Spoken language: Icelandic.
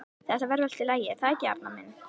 Þetta verður allt í lagi, er það ekki, Arnar minn?